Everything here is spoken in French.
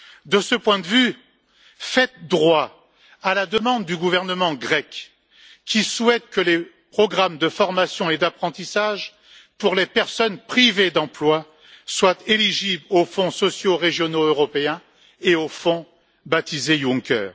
De ce point de vue, faites droit à la demande du gouvernement grec, qui souhaite que les programmes de formation et d'apprentissage pour les personnes privées d'emploi soient éligibles aux fonds sociaux régionaux européens et au fonds baptisé Juncker.